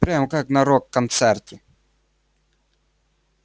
прям как на рок-концерте